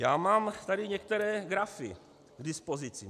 Já mám tady některé grafy k dispozici.